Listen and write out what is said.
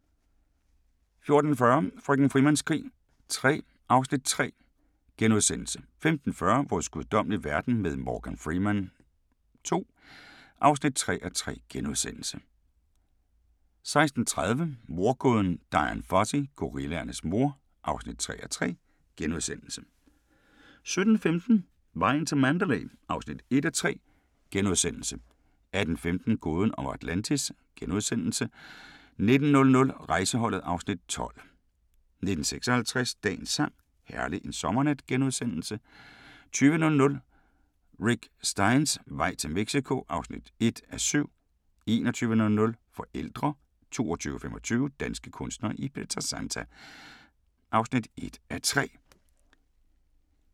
14:40: Frøken Frimans krig III (Afs. 3)* 15:40: Vores guddommelige verden med Morgan Freeman II (3:3)* 16:30: Mordgåden Dian Fossey – Gorillaernes mor (3:3)* 17:15: Vejen til Mandalay (1:3)* 18:15: Gåden om Atlantis * 19:00: Rejseholdet (Afs. 12) 19:56: Dagens sang: Herlig en sommernat * 20:00: Rick Steins vej til Mexico (1:7) 21:00: Forældre 22:25: Danske kunstnere i Pietrasanta (1:3)